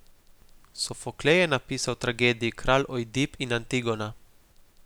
Sofoklej je napisal tragediji Kralj Ojdip in Antigona.